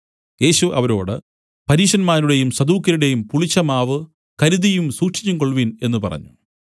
യേശു അവരോട് പരീശന്മാരുടെയും സദൂക്യരുടെയും പുളിച്ച മാവു കരുതിയും സൂക്ഷിച്ചും കൊൾവിൻ എന്നു പറഞ്ഞു